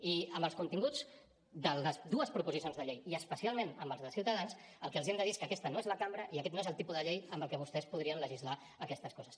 i amb els continguts de les dues proposicions de llei i especialment amb els de ciutadans el que els hem de dir és que aquesta no és la cambra i aquest no és el tipus de llei amb la qual vostès podrien legislar aquestes coses